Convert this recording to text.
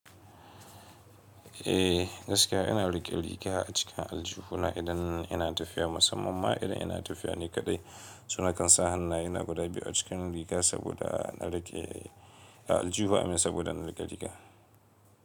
Eh gaskiya ina riƙe riga a acikin aljihu na idan ina tafiya musamman ma idan ina tafiya ni kaɗai. So na kansa hanna ye na guda biyu a cikin riga saboda a riƙe a aljihu a min saboda na riƙe rigiya.